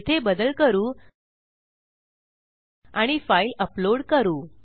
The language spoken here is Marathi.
येथे बदल करू आणि फाईल अपलोड करू